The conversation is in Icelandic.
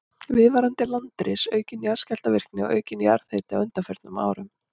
Viðvarandi landris, aukin jarðskjálftavirkni og aukinn jarðhiti á undanförnum árum.